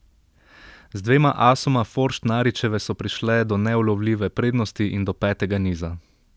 Z dvema asoma Forštnaričeve so prišle do neulovljive prednosti in do petega niza.